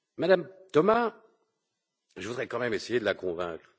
Mme Thomas, je voudrais quand même essayer de la convaincre.